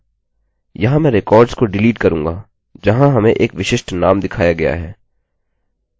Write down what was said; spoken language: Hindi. यहाँ मैं रिकार्डस को डिलीट करूँगा जहाँ हमें एक विशिष्ट नाम दिखाया गया है